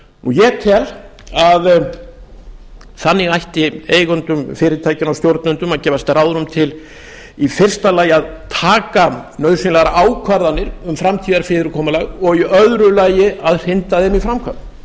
ég tel að þannig ætti eigendum fyrirtækjanna og stjórnendum að gefast ráðrúm til í fyrsta lagi að taka nauðsynlegar ákvarðanir um framtíðarfyrirkomulag og í öðru lagi hrinda þeim